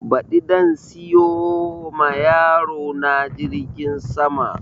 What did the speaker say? Ɓadi zan siyo ma yaro na jirgin sama